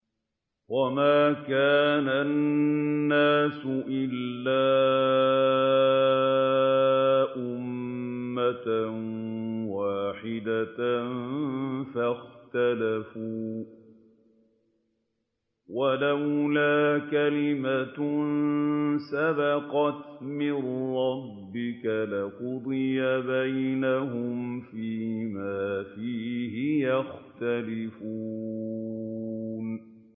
وَمَا كَانَ النَّاسُ إِلَّا أُمَّةً وَاحِدَةً فَاخْتَلَفُوا ۚ وَلَوْلَا كَلِمَةٌ سَبَقَتْ مِن رَّبِّكَ لَقُضِيَ بَيْنَهُمْ فِيمَا فِيهِ يَخْتَلِفُونَ